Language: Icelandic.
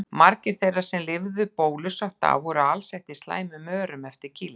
Margir þeirra sem lifðu bólusótt af voru alsettir slæmum örum eftir kýlin.